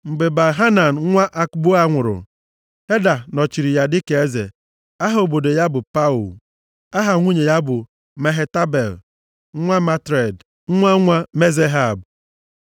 Mgbe Baal-Hanan nwa Akboa nwụrụ, Heda nọchiri ya dịka eze. Aha obodo ya bụ Pau. Aha nwunye ya bụ Mehetabel, nwa Matred nwa nwa Mezahab.